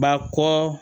Ba kɔ